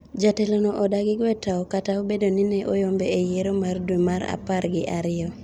Jatelono odagi gwe tawo kata obedo ni ne oyombe e yiero ma dwe mar apar gi aryo